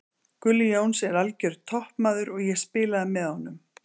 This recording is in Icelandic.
Gulli Jóns er algjör toppmaður og ég spilaði með honum.